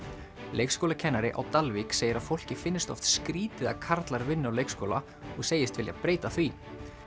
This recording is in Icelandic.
leikskólakennari á Dalvík segir að fólki finnist oft skrýtið að karlar vinni á leikskóla og segist vilja breyta því